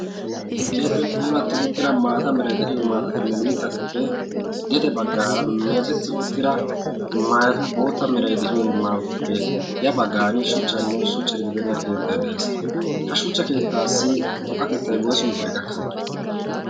keeppe puulatti uttira maata mirai de'iyo maatatinne mixxatuppe gete baggaara meecetti uttira maayatu bootta mirai de'iyo maawatuppe ya baggan shuchchanne shuchcha gidibeenna keettai de'ees ha shuchcha keettaassi toqqatettay woysu mittida gakkana